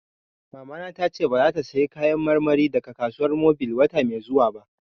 Mamana ta ce ba za ta saya Kayan marmari daga Kasuwan Mobil wata mai zuwa ba